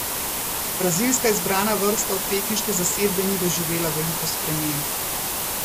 Brazilska izbrana vrsta od pekinške zasedbe ni doživela veliko sprememb.